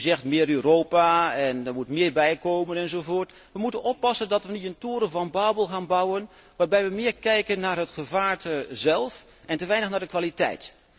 U zegt meer Europa en er moet meer bijkomen, enzovoort. We moeten oppassen dat we niet een toren van Babel gaan bouwen waarbij we meer kijken naar het gevaarte zelf en te weinig naar de kwaliteit.